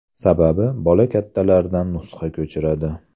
Sababi bola kattalardan nusxa ko‘chiradi.